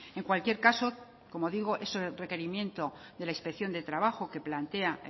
en cualquier caso como digo es un requerimiento de la inspección de trabajo que plantea